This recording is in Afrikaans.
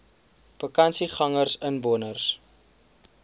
vakansiegangersinwoners